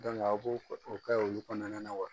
a b'o o kɛ olu kɔnɔna na wa